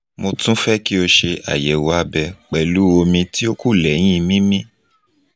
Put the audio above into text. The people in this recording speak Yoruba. mo tun fẹ ki o ṣe ayẹwo abẹ pẹlu omi ti o ku lẹhin mimi